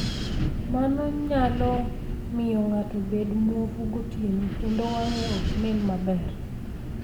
Mano nyalo miyo ng'ato obed muofu gotieno, kendo wang'e ok nen maber.